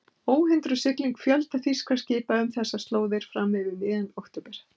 Óhindruð sigling fjölda þýskra skipa um þessar slóðir fram yfir miðjan október